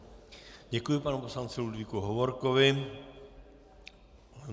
Děkuji panu poslanci Ludvíku Hovorkovi.